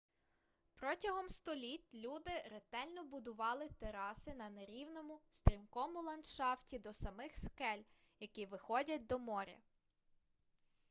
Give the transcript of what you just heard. протягом століть люди ретельно будували тераси на нерівному стрімкому ландшафті до самих скель які виходять до моря